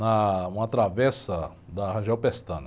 Na, uma travessa da Rangel Pestana.